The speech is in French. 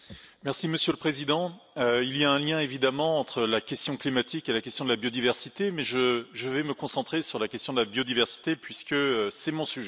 Monsieur le Président, il y a un lien, évidemment, entre la question climatique et la question de la biodiversité, mais je vais me concentrer sur la question de la biodiversité, puisque c'est mon sujet.